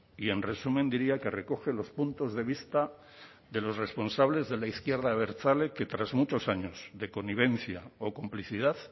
y en resumen diría que recoge los puntos de vista de los responsables de la izquierda abertzale que tras muchos años de connivencia o complicidad